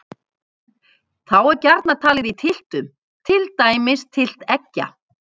Þá er gjarnan talið í tylftum, til dæmis tylft eggja.